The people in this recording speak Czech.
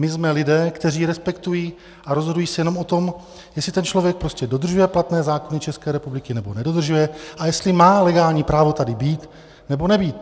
My jsme lidé, kteří respektují a rozhodují se jenom o tom, jestli ten člověk prostě dodržuje platné zákony České republiky, nebo nedodržuje a jestli má legální právo tady být, nebo nebýt.